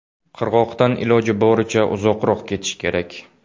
Qirg‘oqdan iloji boricha uzoqroq ketish kerak.